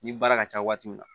Ni baara ka ca waati min na